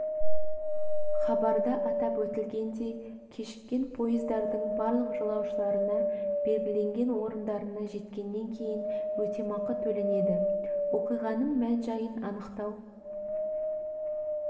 хабарда атап өтілгендей кешіккен пойыздардың барлық жолаушыларына белгіленген орындарына жеткеннен кейін өтемақы төленеді оқиғаның мән-жайын анықтау